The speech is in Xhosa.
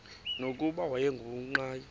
nokuba wayengu nqal